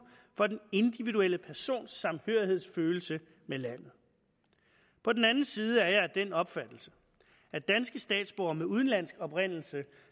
for den individuelle persons samhørighedsfølelse med landet på den anden side er jeg af den opfattelse at danske statsborgere med udenlandsk oprindelse